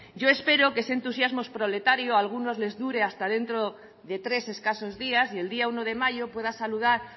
yo espero que ese entusiasmo proletario a algunos les dure hasta dentro de tres escasos días y el día uno de mayo pueda saludar